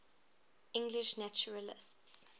english naturalists